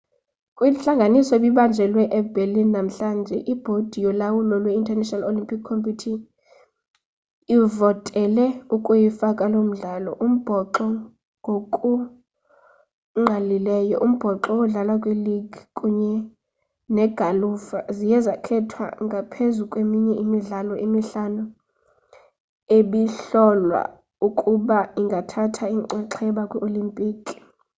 kwintlanganiso ebibanjelwe eberlin namhlanje ibhodi yolawulo lwe-international olympic committee ivotele ukuyifaka loo midlalo umbhoxo ngokungqalileyo umbhoxo odlalwa kwiligi kunye negalufa ziye zakhethwa ngaphezu kweminye imidlalo emihlanu ebihlolwa ukuba ingathatha inxaxheba kwii-olimpiki